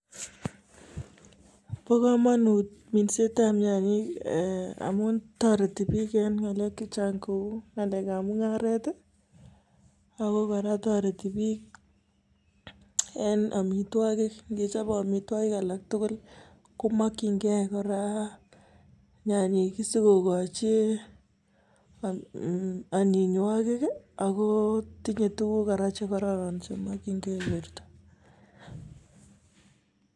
Bo komonut minsetab nyanyik amun toreti bik en ngelek chechang kou ngalek mungaret Ako koraa toreti bik en omitwokik ngechobe omitwokik alak tukul komokingee koraa nyanyik kii sokokochi onyinywokik kii ak tinye tukuk koraa chekororon chemokingee borto.